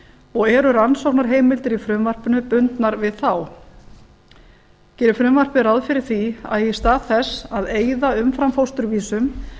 og eru rannsóknarheimildir í frumvarpinu bundnar við þá gerir frumvarpið ráð fyrir því að í stað þess að eyða umframfósturvísum